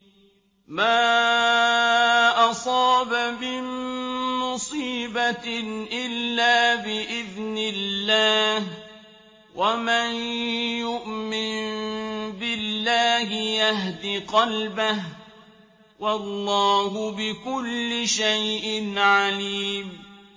مَا أَصَابَ مِن مُّصِيبَةٍ إِلَّا بِإِذْنِ اللَّهِ ۗ وَمَن يُؤْمِن بِاللَّهِ يَهْدِ قَلْبَهُ ۚ وَاللَّهُ بِكُلِّ شَيْءٍ عَلِيمٌ